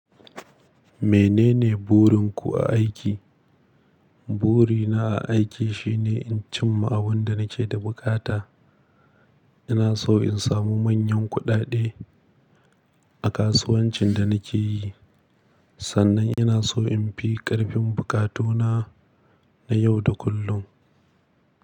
Menene burinku a aiki? Burina a aiki shine in cimma abin da nake da bukata. Ina so in samu manyan kuɗaɗe a kasuwancin da nake yi. Sannan ina so in fi ƙarfin buƙatuna na yau da kullum.